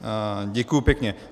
Děkuji pěkně.